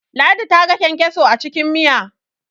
ladi ta ga kyankyaso a cikin Miya